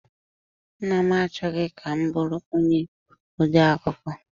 Nna m achọghị ka m bụrụ onye ode akụkọ.